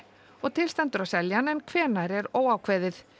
og til stendur að selja hann en hvenær er óákveðið